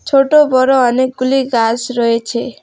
ছোট বড় অনেকগুলি গাস রয়েছে।